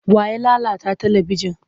Wa ya lalata talibijin?